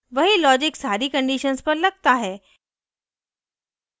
वहीं logic सारी conditions पर लगता है